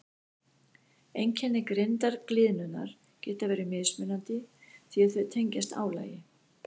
Einkenni grindargliðnunar geta verið mismunandi því að þau tengjast álagi.